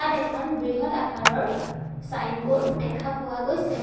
এখন বৃহৎ আকাৰৰ ছাইনবোৰ্ড দেখা পোৱা গৈছে।